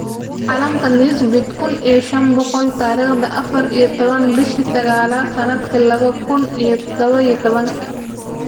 Caalamka Newsbeat kuun iyo shaan boqol tarikhda afaar iyo tobaan bishaa sagalaad sanadka lawo kuun iyo tadhawo iyo tobaanki